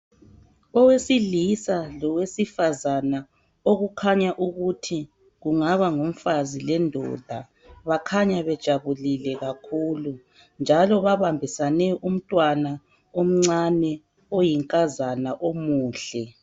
Owesilisa lowesifazana okukhanya ukuthi kungaba ngumfazi lendoda. Bakhanya bejabulile kakhulu njalo babambusane umntwana omncane oyinkazana omuhle.